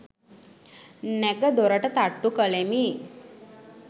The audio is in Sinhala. නැඟ දොරට තට්ටු කලෙමි.